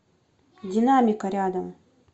динамика рядом